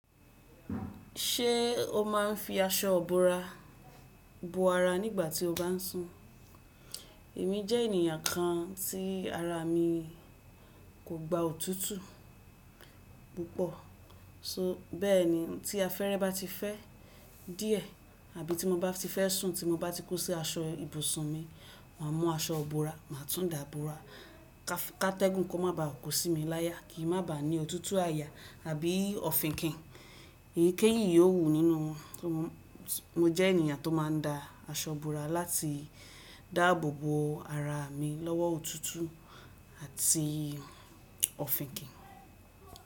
Ṣé o máa ń fi aṣọ bora bo ara nígbà tí o bá ń sùn? Èmi jẹ́ ènìyàn kan tí ara mi kò gba òtútù púpọ̀, só bẹ́ẹ̀ni tí afẹ́rẹ́ bá ti fẹ́ díẹ̀ àbí tí mo bá ti fẹ́ sùn tí mo bá ti kó sí aṣọ ibùsùn mi, màá mú aṣọ búra, màá tún dà bora. Kátẹ́gùn kó má bàa ko sí mi láya, kí n má bàa ní òtútù àyà àbí òfinkín Èyí kéyìn yóò wù nínú, mo jẹ́ ènìyàn tó máa ń da aṣọ bora láti dáàbò bo ara mi lọ́wọ́ òtútù àti òfin kín.